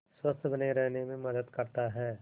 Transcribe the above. स्वस्थ्य बने रहने में मदद करता है